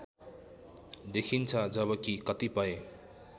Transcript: देखिन्छ जबकि कतिपय